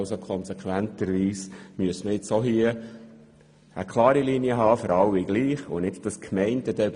Konsequenterweise müsste man auch hier eine klare Linie haben, sodass für alle das Gleiche gilt.